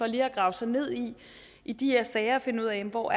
lige at grave sig ned i i de her sager og finde ud af hvor